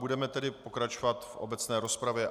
Budeme tedy pokračovat v obecné rozpravě.